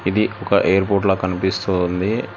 ఇది ఒక ఎయిర్పోర్ట్ లాగా కనిపిస్తుంది